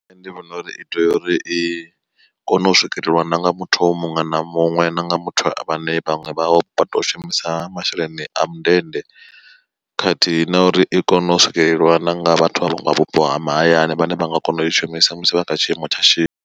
Nṋe ndi vhona uri i tea uri i kone u swikelelwa nanga muthu muṅwe na muṅwe nanga muthu vhane vhaṅwe vha vha tou shumisa masheleni a mundende, khathihi na uri i kone u swikeleliwa na nga vhathu avho vha vhupo ha mahayani vhane vha nga kona u i shumisa musi vha kha tshiimo tsha shishi.